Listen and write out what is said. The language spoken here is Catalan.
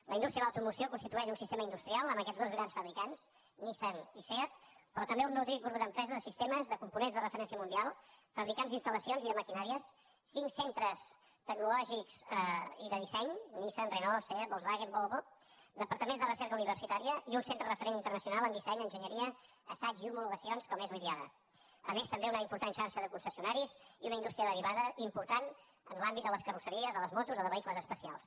la indústria de l’automoció constitueix un sistema industrial amb aquests dos grans fabricants nissan i seat però també un nodrit grup d’empreses de sistemes de components de referència mundial fabricants d’instal·lacions i de maquinàries cinc centres tecnològics i de disseny nissan renault seat volkswagen volvo departaments de recerca universitària i un centre referent internacional en disseny enginyeria assaig i homologacions com és l’idiada a més també una important xarxa de concessionaris i una indústria derivada important en l’àmbit de les carrosseries de les motos o de vehicles especials